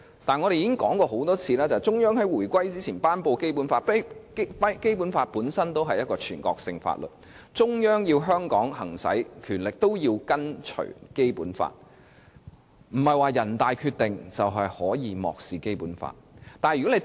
但我們已經多次指出，中央在回歸之前頒布《基本法》，《基本法》本身便是一部全國性法律，中央要在香港行使權力，也是要跟從《基本法》，並非有了人大《決定》便可以漠視《基本法》。